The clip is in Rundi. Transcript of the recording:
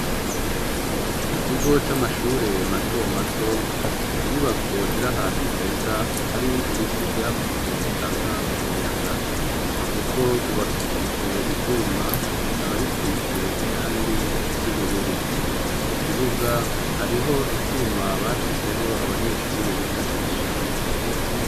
Mu kigo c'amashure mato mato, inyubako ziri ahantu heza hari ibiti bitanga umuyaga, urugo rwubakishijwe ivyuma bikaba bisize irangi ry'ubururu mu kibuga hariho icuma bashizeho abanyeshure bifashisha bari gukina.